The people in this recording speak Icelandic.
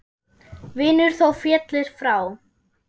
Vinur þó féllir frá.